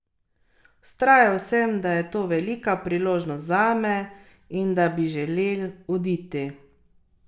Vztrajal sem, da je to velika priložnost zame in da bi želel oditi.